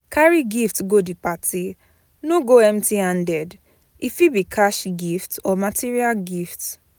Carry gift go the party no go empty handed e fit be cash gift or material gift